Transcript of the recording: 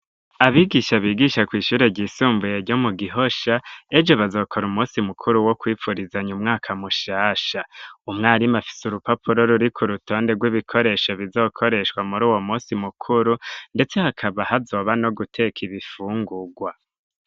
Abigisha bigisha kw'ishure ryisumbuye ryo mu Gihosha ejo bazokora umusi mukuru wo kwipfurizanya umwaka mushasha, umwarimu afise urupapuro ruriko urutonde rw'ibikoresho bizokoreshwa muri uwo musi mukuru ndetse hakaba hazoba no guteka ibifungurwa.